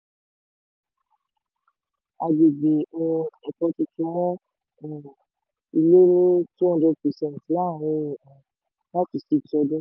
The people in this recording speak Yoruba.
agbègbè um èkó tuntun mọ um ilẹ̀ ní two hundred percent láàrin um five to six ọdún.